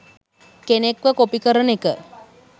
කෙනෙක්ව කොපි කරන එක